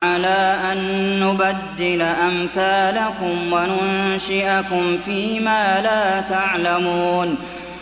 عَلَىٰ أَن نُّبَدِّلَ أَمْثَالَكُمْ وَنُنشِئَكُمْ فِي مَا لَا تَعْلَمُونَ